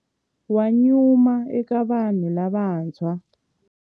Wa nyuma eka vanhu lavantshwa.